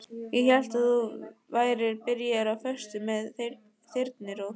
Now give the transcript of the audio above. Ég hélt að þú værir byrjaður á föstu með Þyrnirós.